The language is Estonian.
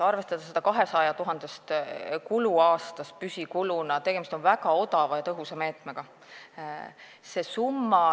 Arvestades seda, et 200 000 on aastas püsikulu, on minu meelest tegemist väga odava ja tõhusa meetmega.